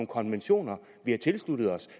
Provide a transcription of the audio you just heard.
konventioner vi har tilsluttet os